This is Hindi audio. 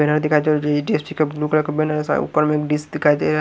बैनर दिखाई दे रहा है ब्लू कलर का बैनर है ऊपर मै डिस्क दिखाई दे रहा --